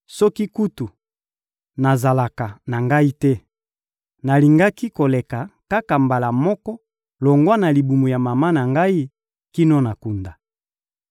Soki kutu nazalaka na ngai te, nalingaki koleka kaka mbala moko longwa na libumu ya mama kino na kunda.